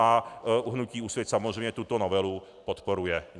A hnutí Úsvit samozřejmě tuto novelu podporuje.